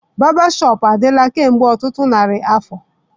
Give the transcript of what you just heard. Barbershop adịla kemgbe ọtụtụ narị afọ